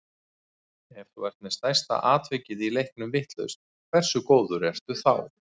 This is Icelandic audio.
Ef þú ert með stærsta atvikið í leiknum vitlaust, hversu góður ertu þá?